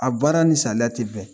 A baara ni saliya tɛ bɛn